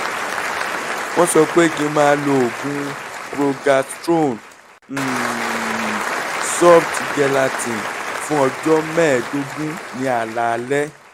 wọ́n sọ pé kí n máa lo oògùn progestrone um soft gelatin fún ọjọ́ mẹ́ẹ̀ẹ́dógún ní alaalẹ́